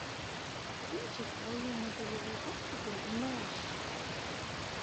кинчик военно полевой госпиталь мэш